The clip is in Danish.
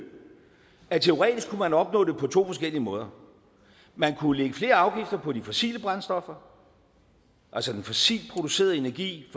at man teoretisk kunne opnå det på to forskellige måder man kunne lægge flere afgifter på de fossile brændstoffer altså den fossilt producerede energi